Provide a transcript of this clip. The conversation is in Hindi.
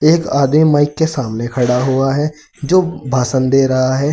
एक आदमी माइक के सामने खड़ा हुआ है जो भाषण दे रहा है।